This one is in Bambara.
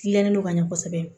Gilannen no ka ɲɛ kosɛbɛ